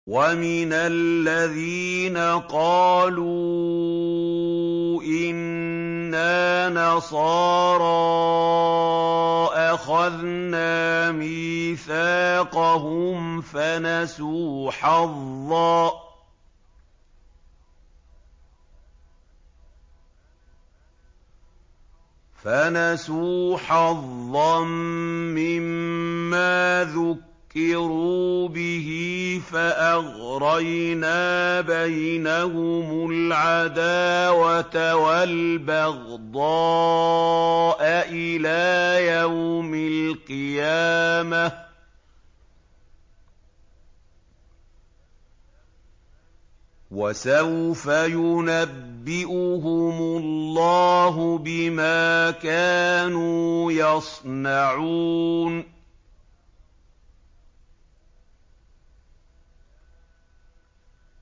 وَمِنَ الَّذِينَ قَالُوا إِنَّا نَصَارَىٰ أَخَذْنَا مِيثَاقَهُمْ فَنَسُوا حَظًّا مِّمَّا ذُكِّرُوا بِهِ فَأَغْرَيْنَا بَيْنَهُمُ الْعَدَاوَةَ وَالْبَغْضَاءَ إِلَىٰ يَوْمِ الْقِيَامَةِ ۚ وَسَوْفَ يُنَبِّئُهُمُ اللَّهُ بِمَا كَانُوا يَصْنَعُونَ